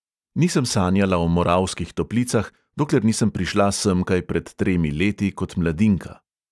Nisem sanjala o moravskih toplicah, dokler nisem prišla semkaj pred tremi leti kot mladinka.